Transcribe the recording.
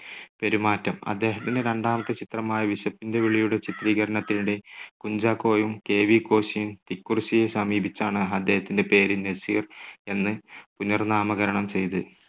പെരുമാറ്റം. അദ്ദേഹത്തിന്റെ രണ്ടാമത്തെ ചിത്രമായ വിശപ്പിന്റെ വിളിയുടെ ചിത്രീകരണത്തിനിടെ കുഞ്ചാക്കോയും കെ. വി. കോശിയും തിക്കുറിശ്ശിയെ സമീപിച്ചാണ് അദ്ദേഹത്തിന്റെ പേര് നസീർ എന്ന് പുനർനാമകരണം ചെയ്ത്.